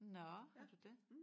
Nåh har du det?